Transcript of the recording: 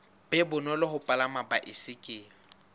be bonolo ho palama baesekele